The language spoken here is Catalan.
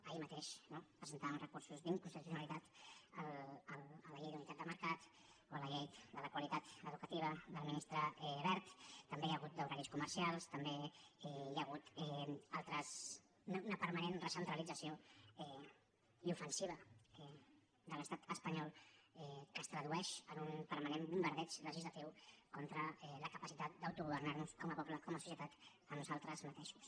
ahir mateix no presentàvem uns recursos d’in·constitucionalitat a la llei d’unitat de mercat o a la llei de la qualitat educativa del ministre wert tam·bé n’hi ha hagut d’horaris comercials també hi ha hagut una permanent recentralització i ofensiva de l’estat espanyol que es tradueix en un permanent bombardeig legislatiu contra la capacitat d’autogo·vernar·nos com a poble com a societat nosaltres mateixos